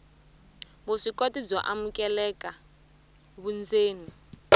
vuswikoti byo amukeleka vundzeni